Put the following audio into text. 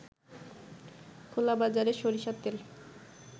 খোলাবাজারে সরিষার তেল